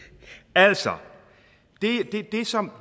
altså